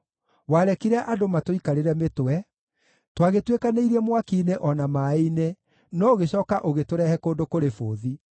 Warekire andũ matũikarĩre mĩtwe; twagĩtuĩkanirie mwaki-inĩ o na maaĩ-inĩ, no ũgĩcooka ũgĩtũrehe kũndũ kũrĩ bũthi.